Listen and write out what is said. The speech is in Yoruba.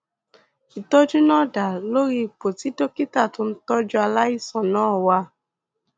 ìtọjú náà dá lórí ipò tí dókítà tó ń tọjú aláìsàn náà wà